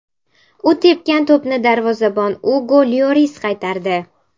U tepgan to‘pni darvozabon Ugo Lyoris qaytardi.